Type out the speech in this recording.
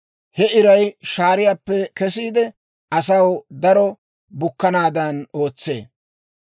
He iray shaariyaappe kesiide, asaw daro bukkanaadan ootsee.